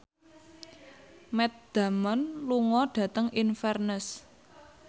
Matt Damon lunga dhateng Inverness